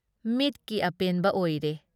ꯃꯤꯠꯀꯤ ꯑꯄꯦꯟꯕ ꯑꯣꯏꯔꯦ ꯫